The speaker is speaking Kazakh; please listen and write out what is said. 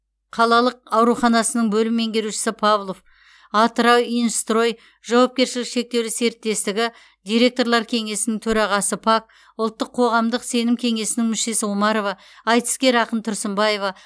қалалық ауруханасының бөлім меңгерушісі павлов атырауинжстрой жауапкершілігі шектеулі серіктестігі директорлар кеңесінің төрағасы пак ұлттық қоғамдық сенім кеңесінің мүшесі омарова айтыскер ақын тұрсынбаева